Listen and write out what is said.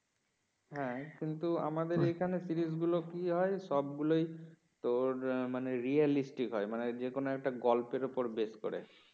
হ্যাঁ কিন্তু আমাদের এখানে সিরিজ গুলো কি হয় সব গুলোই তোর মান realistic হয় মানে যেকোন একটা গল্পের উপর বেস করে